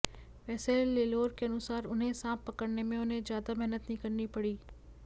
वैसे लेलोर के अनुसार उन्हें सांप पकड़ने में उन्हें ज्यादा मेहनत नहीं करनी पड़ी